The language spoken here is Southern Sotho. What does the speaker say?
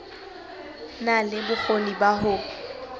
na le bokgoni ba ho